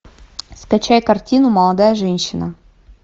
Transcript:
скачай картину молодая женщина